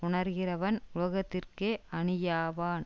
உணருகிறவன் உலகத்திற்கே அணியாவான்